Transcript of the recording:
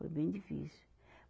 Foi bem difícil.